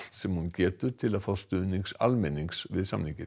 sem hún getur til að fá stuðning almennings við samninginn